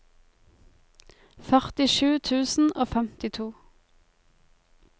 førtisju tusen og femtito